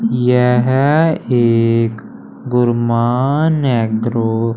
यह एक गुरमान एग्रो --